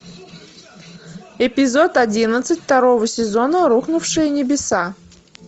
эпизод одиннадцать второго сезона рухнувшие небеса